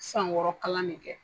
San wɔɔrɔ kalan ne kɛ.